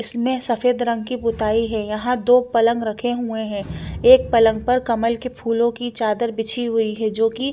इसने सफेद रंग की पुताई है यहा दो पलंग रखे हुए है एक पलंग पर कलम के फूलो की चादर बिछि हुई है जो की--